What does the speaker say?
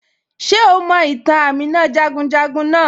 Ṣe o mọ̀ itàn Àmìnà jagunjagun naà?